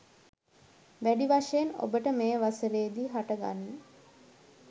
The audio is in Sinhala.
වැඩි වශයෙන් ඔබට මේ වසරේදි හට ගනී.